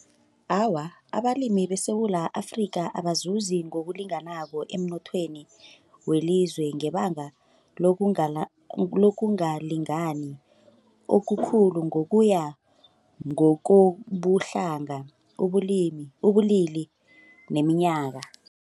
Awa, abalimi beSewula Afrika abazuzi ngokulinganako emnothweni welizwe ngebanga lokungalingani okukhulu ngokuya ngokobuhlanga ubulili neminyaka.